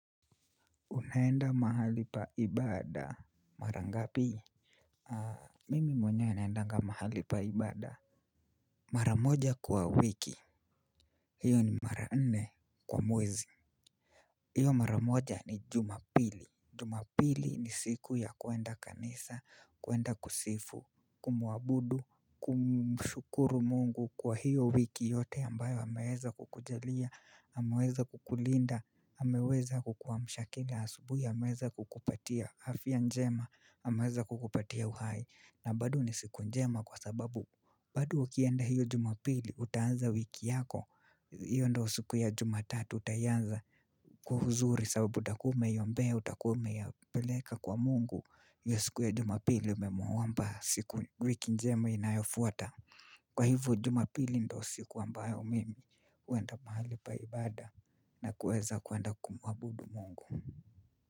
Unaenda mahali paibada. Mara nga pii? Mimi mwenyewe naendanga mahali paibada. Maramoja kwa wiki. Hiyo ni maranne kwa mwezi. Hiyo maramoja ni jumapili. Jumapili ni siku ya kwenda kanisa, kwenda kusifu, kumuabudu, kumshukuru mungu kwa hiyo wiki yote ambayo ameweza kukujalia, ameweza kukulinda, ameweza kukuwa amsha akili asubuhi ameweza kukupatia. Afya njema ameweza kukupatia uhai na bado ni siku njema kwa sababu bado ukienda hiyo jumapili utaanza wiki yako hiyo ndo siku ya jumatatu utaianza kwa uzuri sababu utakuwa umeiombea utakuwa ume ya peleka kwa mungu hiyo siku ya jumapili umemuomba siku wiki njema inayofuata kwa hivo jumapili ndo siku ambayo mimi uenda mahali paibada na kuweza kwenda kumuabudu mungu.